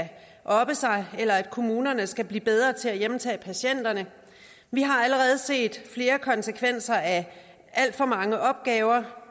oppe sig eller at kommunerne skal blive bedre til at hjemtage patienterne vi har allerede set flere konsekvenser af alt for mange opgaver